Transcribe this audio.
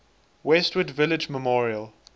westwood village memorial